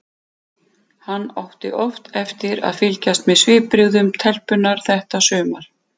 Hann átti oft eftir að fylgjast með svipbrigðum telpunnar þetta sumar.